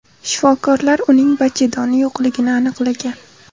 Shifokorlar uning bachadoni yo‘qligini aniqlagan.